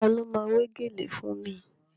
Ta ló ma wé gèlè fún mi?